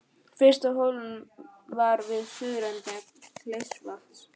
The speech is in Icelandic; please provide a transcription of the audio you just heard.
Fyrsta holan var við suðurenda Kleifarvatns.